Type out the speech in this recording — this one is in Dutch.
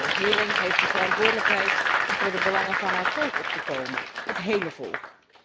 De regering heeft de verantwoordelijkheid om voor de belangen van haar volk op te komen, het hele volk.